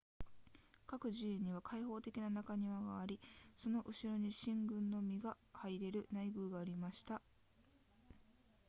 各寺院には開放的な中庭がありその後に神官のみが入れる内宮がありました